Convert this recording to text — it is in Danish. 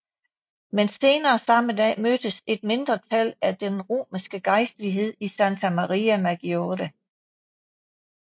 Men senere samme dag mødtes et mindretal af den romerske gejstlighed i Santa Maria Maggiore